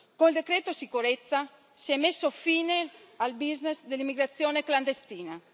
Col decreto sicurezza si è messo fine al business dell'immigrazione clandestina.